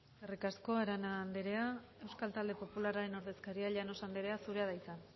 eskerrik asko arana anderea euskal talde popularraren ordezkaria llanos anderea zurea da hitza